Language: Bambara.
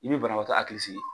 I bɛ banabaatɔ a hakili sigi.